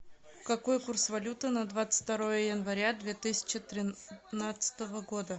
какой курс валюты на двадцать второе января две тысячи тринадцатого года